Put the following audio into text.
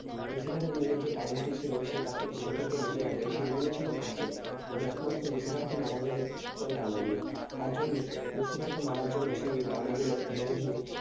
Lucifer এর মেয়ের যে ডানাটি ছিল, সেটিকে বেঁধে রাখে। সেইগুলো ছিল কাচের। মানে একমাত্র Lucifer কে মারা যাবে ওই ডানা দিয়ে। তারজন্যে Lucifer কে মারার জন্যে সে এই ডানা গুলো ভেঙ্গে ভেঙ্গে